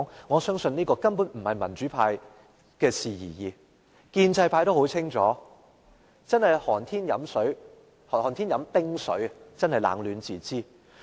我相信不僅民主派，建制派亦很清楚，猶如寒天喝冰水，冷暖自知。